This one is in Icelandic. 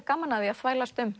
gaman af að þvælast um